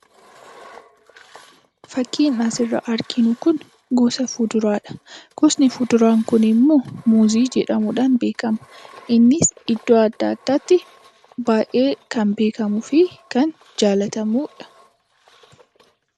Fakkiin asirraa arginu kun gosa fuduraadha. Gosni fuduraan kunimmoo muuzii jedhamuudhaan beekama. Innis iddoo adda addaatti baay'ee kan beekamuu fi kan jaallatamudha.